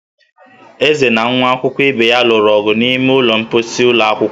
Eze na nwa akwụkwọ ibe ya lụrụ ọgụ n'ime ụlọ mkposi ụlọ akwụkwọ